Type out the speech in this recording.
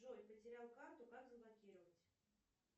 джой потерял карту как заблокировать